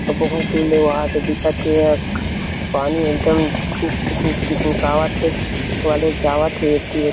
अऊ बहुत दूर ले वहा दे दिखत हे एहा पानी एकदम चीक चीक चिकमिकवात हे कॉलेज जावा थे एती--